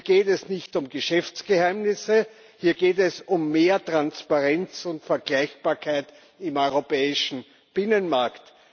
Hier geht es nicht um Geschäftsgeheimnisse, hier geht es um mehr Transparenz und Vergleichbarkeit im europäischen Binnenmarkt.